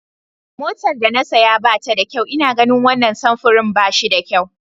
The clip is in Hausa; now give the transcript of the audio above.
Motar da na saya ba ta da kyau ina ganin wannan samfurin ba shi da kyau.